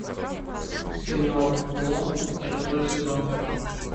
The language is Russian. сериал клон шестой сезон